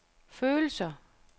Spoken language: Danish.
følelser